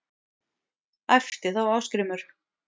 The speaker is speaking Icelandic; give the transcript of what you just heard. æpti þá Ásgrímur